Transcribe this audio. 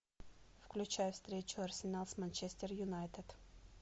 включай встречу арсенал с манчестер юнайтед